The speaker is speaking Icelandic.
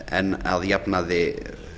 en að jafnaði